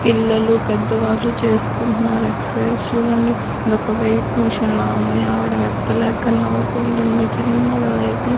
పిల్లలు పెద్దవాళ్లు చేసుకుంటున్నారు ఎక్సైజ్ చూడండి ఇది ఒక వెయిట్ మిషన్ లా ఉంది ఆవిడ ఎత్తలేక నవ్వుకుంటుంది చిన్నగా లేపి.